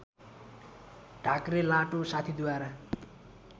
ढाक्रे लाटो साथीद्वारा